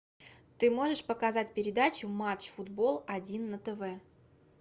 ты можешь показать передачу матч футбол один на тв